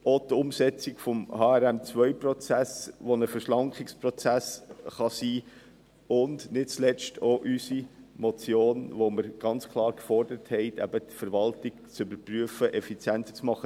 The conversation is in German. Dazu gehört auch die Umsetzung des HRM2-Prozesses, der ein Verschlankungsprozess sein kann, und nicht zuletzt auch unsere Motion, in der wir ganz klar gefordert haben, die Verwaltung zu überprüfen und effizienter zu machen.